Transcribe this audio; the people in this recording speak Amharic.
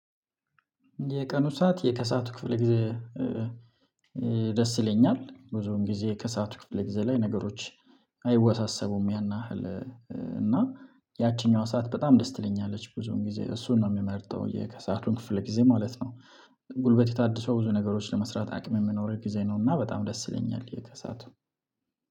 የቀኑ ሰዓት የከሰአቱ ክፍል ጊዜ። ደስ ይለኛል ብዙም ጊዜ ከሰአቱ ክፍል ጊዜ ላይ ነገሮች። አይወሳሰቡም ያናህል እና ያቺኛዋ ሰዓት በጣም ደስ ትለኛለች ብዙውን ጊዜ እሱን ነው የሚመርጠው የከሰአቱን ክፍል ጊዜ ማለት ነው። ጉልበት የታደሰው ብዙ ነገሮች ለመስራት አቅም የምኖረው ጊዜ ነው። እና በጣም ደስ ይለኛል የከሳቱ